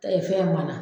fɛn mana